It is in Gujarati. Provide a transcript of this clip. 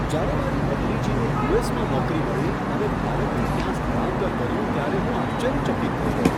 જ્યારે મારી ભત્રીજીને યુ. એસ. માં નોકરી મળી અને ભારતથી ત્યાં સ્થળાંતર કર્યું ત્યારે હું આશ્ચર્યચકિત થઈ ગયો.